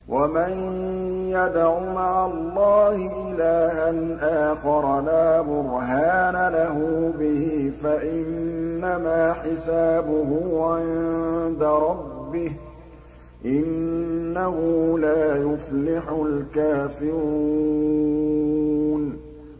وَمَن يَدْعُ مَعَ اللَّهِ إِلَٰهًا آخَرَ لَا بُرْهَانَ لَهُ بِهِ فَإِنَّمَا حِسَابُهُ عِندَ رَبِّهِ ۚ إِنَّهُ لَا يُفْلِحُ الْكَافِرُونَ